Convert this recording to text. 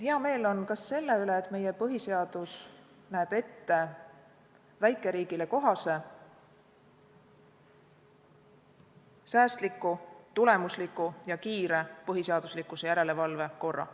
Hea meel on ka selle üle, et meie põhiseadus näeb ette väikeriigile kohase säästliku, tulemusliku ja kiire põhiseaduslikkuse järelevalve korra.